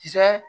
Kisɛ